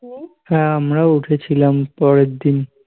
হ্যাঁ আমরা ও উঠেছিলাম পরের দিন